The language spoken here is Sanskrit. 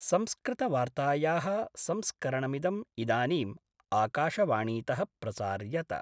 संस्कृतवार्तायाः संस्करणमिदं इदानीम् आकाशवाणीत: प्रसार्यत